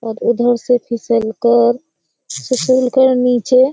और उधर से फिसलकर फिसलकर निचे --